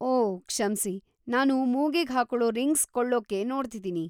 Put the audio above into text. ಓಹ್‌, ಕ್ಷಮ್ಸಿ. ನಾನು ಮೂಗಿಗ್‌ ಹಾಕೊಳೋ ರಿಂಗ್ಸ್ ಕೊಳ್ಳೋಕೆ ನೋಡ್ತಿದೀನಿ.